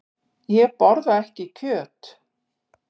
Ég borða ekki kjöt.